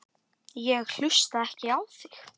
Ég hlusta ekki á þig.